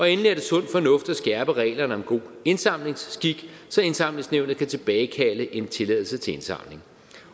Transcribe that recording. endelig er det sund fornuft at skærpe reglerne om god indsamlingsskik så indsamlingsnævnet kan tilbagekalde en tilladelse til indsamling